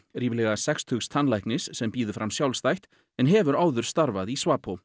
ríflega sextugs tannlæknis sem býður fram sjálfstætt en hefur áður starfað í